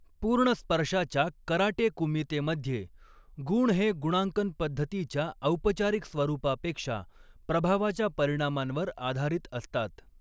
पूर्ण स्पर्शाच्या karate kumite मध्ये, गुण हे गुणांकन पद्धतीच्या औपचारिक स्वरूपापेक्षा प्रभावाच्या परिणामांवर आधारित असतात.